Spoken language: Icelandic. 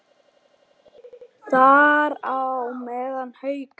Þar á meðal Haukar.